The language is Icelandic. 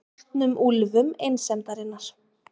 Soltnum úlfum einsemdarinnar.